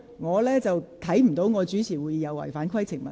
我看不到由我主持會議是不合乎規程。